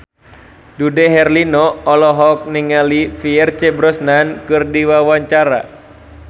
Dude Herlino olohok ningali Pierce Brosnan keur diwawancara